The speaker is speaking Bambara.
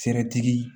tigi